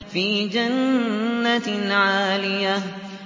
فِي جَنَّةٍ عَالِيَةٍ